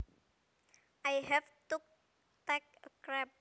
I have to take a crap